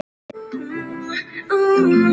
En geri það nú.